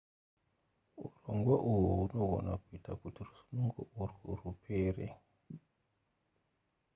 urongwa uhwu hunogona kuita kuti rusununguko urwu rupere